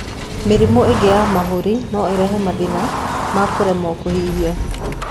Mĩrimũ ĩngĩ ya mahũri no ĩrehe mathĩna ma kũremo kũhihia.